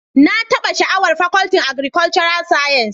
Na taba sha'awar Fakultin Agrikolcural science